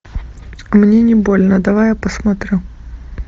мне не больно давай я посмотрю